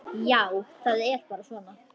Já, það er bara svona.